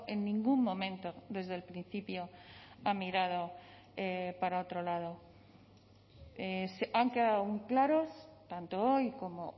en ningún momento desde el principio ha mirado para otro lado han quedado claros tanto hoy como